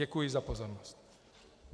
Děkuji za pozornost.